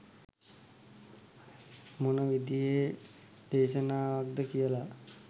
මොන විදිහේ දේශනාවක්ද කියලා